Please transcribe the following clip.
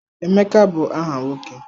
Emeka bụ aha nwoke.